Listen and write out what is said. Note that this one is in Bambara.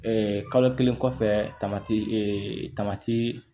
kalo kelen kɔfɛ tamati ee tamati